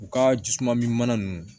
U ka jisuman mi mana nunnu